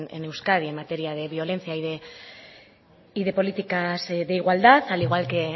en euskadi en materia de violencia y de políticas de igualdad al igual que